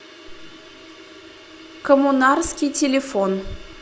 коммунарский телефон